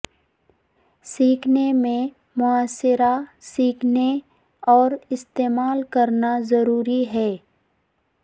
سیکھنے میں محاصرہ سیکھنے اور استعمال کرنا ضروری ہے